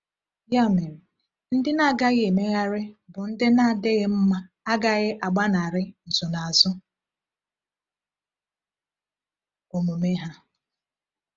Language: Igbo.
Ya mere, ndị na-agaghị emegharị bụ ndị na-adịghị mma agaghị agbanarị nsonaazụ omume ha.